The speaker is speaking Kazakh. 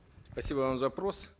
спасибо вам за вопрос